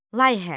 Layihə.